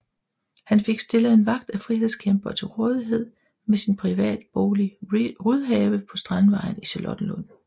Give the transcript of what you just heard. Han fik stillet en vagt af frihedskæmpere til rådighed ved sin privatbolig Rydhave på Strandvejen i Charlottenlund